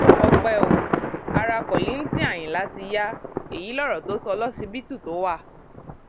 ọpẹ ò ará kollington ayínlá ti ya èyí lọrọ tó sọ lọsibítù tó wà